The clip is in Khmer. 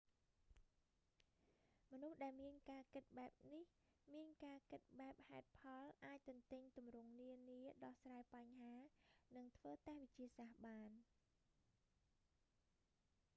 មនុស្សដែលមានការគិតបែបនេះ មានការគិតបែបហេតុផល អាចទន្ទេញទម្រង់នានា ដោះស្រាយបញ្ហា និងធ្វើតេស្តវិទ្យាសាស្ត្របាន